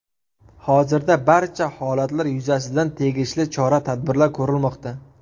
Hozirda barcha holatlar yuzasidan tegishli chora-tadbirlar ko‘rilmoqda.